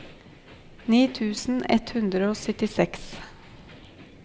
ni tusen ett hundre og syttiseks